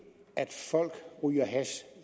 folk ryger hash